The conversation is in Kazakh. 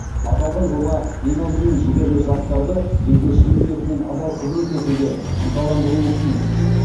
аталған жоба ең алдымен жігерлі жастарды елге шын ниетімен адал қызмет етуге ынталандыруы тиіс